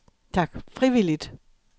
frivilligt